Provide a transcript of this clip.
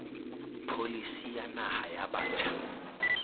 pholisi ya naha ya batjha